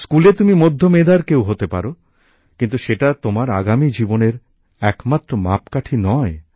স্কুলে তুমি মধ্য মেধার কেউ হতে পারো কিন্তু সেটা তোমার আগামী জীবনের একমাত্র মাপকাঠি নয়